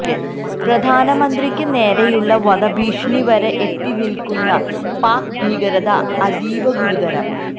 പ്രധാനമന്ത്രിയ്ക്ക് നേരെയുള്ള വധഭീഷണി വരെ എത്തി നില്ക്കുന്ന പാക്ക് ഭീകരത അതീവ ഗുരുതരം